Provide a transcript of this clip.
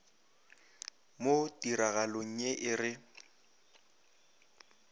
mo tiragalong ye e re